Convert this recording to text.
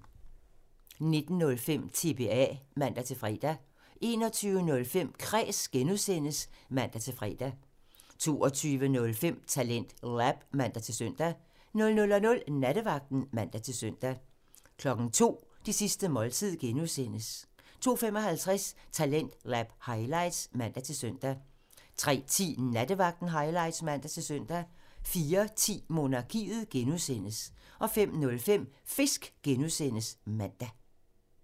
19:05: TBA (man-fre) 21:05: Kræs (G) (man-fre) 22:05: TalentLab (man-søn) 00:00: Nattevagten (man-søn) 02:00: Det sidste måltid (G) (man) 02:55: Talentlab highlights (man-søn) 03:10: Nattevagten highlights (man-søn) 04:10: Monarkiet (G) (man) 05:05: Fisk (G) (man)